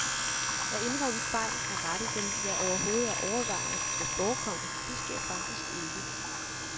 At indrømme fejl, at rette dem, ja, overhovedet at overveje, at de kan forekomme, det sker faktisk ikke.